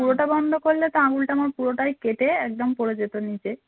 পুরোটা বন্ধ করলে তো আঙ্গুলটা আমার পুরোটাই কেটে একদম পড়ে যেত নিচে